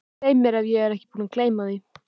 Svei mér ef ég er ekki búinn að gleyma því